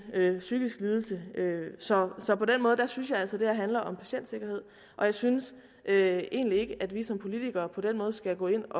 psykisk lidelse så så på den måde synes jeg altså det her handler om patientsikkerhed og jeg synes egentlig ikke at vi som politikere på den måde skal gå ind